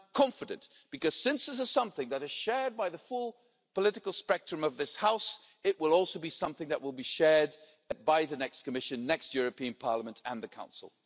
I am confident, because since this is something that is shared by the full political spectrum of this House, it will also be something that will be shared by the next Commission, the next European Parliament and the Council.